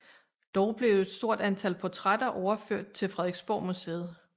Dog blev et stort antal portrætter overført til Frederiksborgmuseet